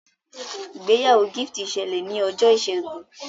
ìgbéyàwó Gift ṣẹlẹ ní Ọjọ́ Ìsẹ́gun.